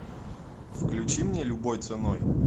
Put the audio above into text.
включи мне любой ценой